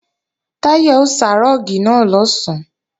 Táyọ̀ ó sá rúùgì náà lọ̀sán